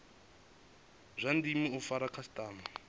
zwa ndeme u fara khasitama